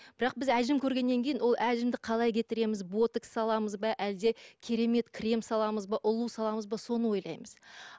бірақ біз әжім көргеннен кейін ол әжімді қалай кетіреміз ботекс саламыз ба әлде керемет крем саламыз ба ұлу саламыз ба соны ойлаймыз